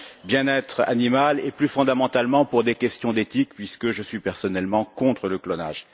bien être animal et, plus fondamentalement, pour des questions d'éthique puisque je suis personnellement contre le clonage.